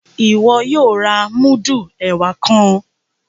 Iwọ yóò rà mudu ẹwà kàn!